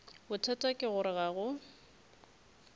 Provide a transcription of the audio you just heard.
bothata ke gore ga go